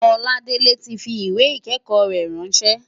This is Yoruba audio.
Oladele ti fi ìwé ìkẹ́kọ̀ọ́ rẹ̀ ráńṣẹ́.